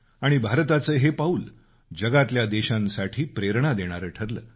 आणि भारताचं हे पाऊल जगातल्या देशांसाठी प्रेरणा देणारं ठरलं